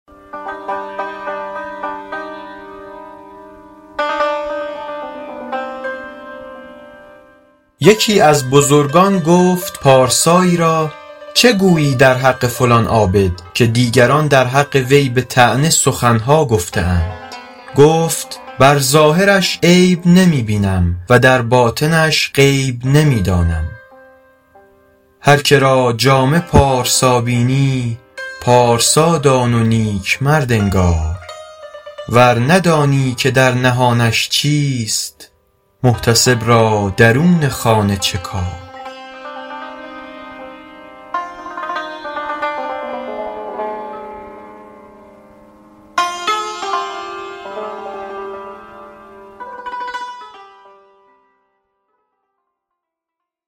یکی از بزرگان گفت پارسایی را چه گویی در حق فلان عابد که دیگران در حق وی به طعنه سخن ها گفته اند گفت بر ظاهرش عیب نمی بینم و در باطنش غیب نمی دانم هر که را جامه پارسا بینی پارسا دان و نیک مرد انگار ور ندانی که در نهانش چیست محتسب را درون خانه چه کار